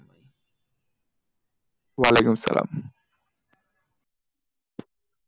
ওয়ালিকুম আসালাম।